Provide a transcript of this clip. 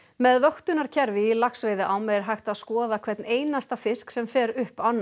með vöktunarkerfi í laxveiðiám er hægt að skoða hvern einasta fisk sem fer upp ána